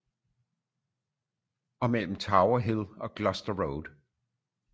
Og mellem tower hill og gloucester road